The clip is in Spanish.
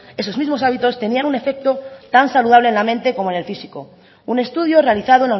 esos mismos hábitos tenían un efecto tan saludable a la mente como en el físico un estudio realizado